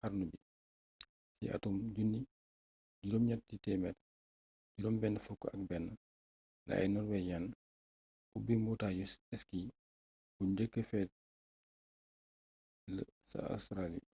xarnu bi ci attum 1861 la ay norwegians ubbi mbotayu ski bu njeekk fële ca australia